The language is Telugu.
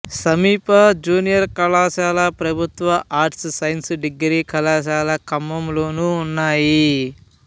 సమీప జూనియర్ కళాశాల ప్రభుత్వ ఆర్ట్స్ సైన్స్ డిగ్రీ కళాశాల ఖమ్మంలోను ఉన్నాయి